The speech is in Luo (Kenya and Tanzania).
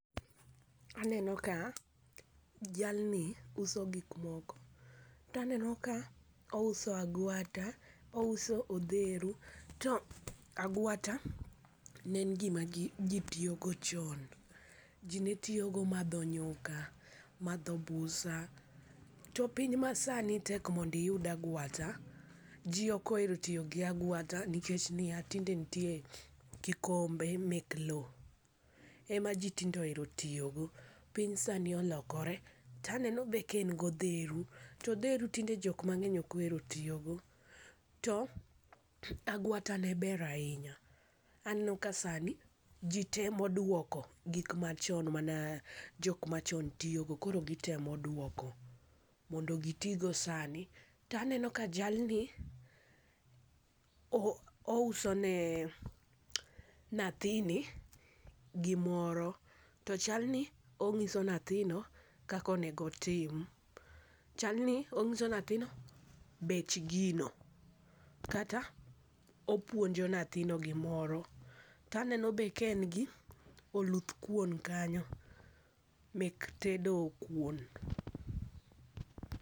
Aneno ka jalni uso gik moko to aneno ka ouso agwata , ouso odheru. To agwata ne en gima ji ne tiyogo chon. Ji ne tiyogo madho nyuka, madho busa. To piny masani tek mondo iyud agwata, ji ok ohero tiyo gi agwata nikech niya tinde nitie kikombe mek lowo ema jitinde ohero tiyo go. Piny sani olokore. To aneno be ka en gi odheru. To odheru tinde jok mang'eny ok ohero tiyogo. To agwata ne ber ahinya, aneno kasani ji temo duoko gik machon mane jok machon tiyogo koro gitemo duoko modo gitigo sani. To aneno ka jalni ouso ne nyathini gimoro to chalni onyiso nyathino kaka onego otim, chal ni onyiso nyathino bech gino kata opuonjo nyathino gimoro. To aneno be kaen gi oluthkuon kanyo mek tedo kuon.